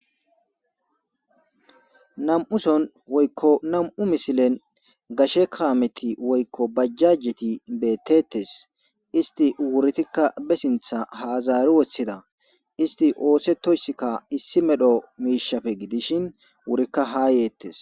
Nam'uson woykko nam'u misilen gashe kaameti woykko bajjajjeti beettettes isti uwuritikka be sintha haazaari wothida isti oose toysskka issi medho miishafe gidishin wurikka haa yeettes.